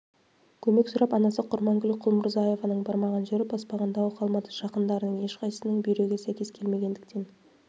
көмек сұрап анасы құрманкүл құлмұрзаеваның бармаған жері баспаған тауы қалмады жақындарының ешқайсысының бүйрегі сәйкес келмегендіктен